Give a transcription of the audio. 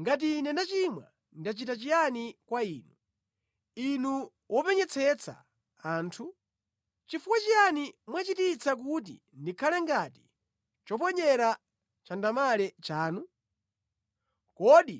Ngati ine ndachimwa, ndachita chiyani kwa Inu, Inu wopenyetsetsa anthu? Chifukwa chiyani mwachititsa kuti ndikhale ngati choponyera chandamale chanu? Kodi